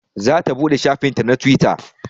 Za ta buɗe shafin ta na twitter